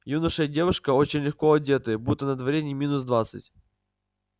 юноша и девушка очень легко одетые будто на дворе не минус двадцать